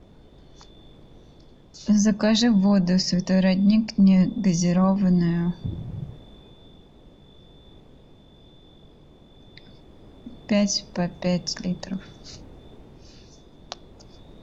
закажи воду святой родник негазированную пять по пять литров